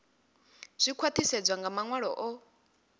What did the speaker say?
zwi khwaṱhisedzwa nga maṅwalo o